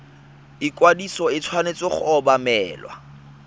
ikwadiso e tshwanetse go obamelwa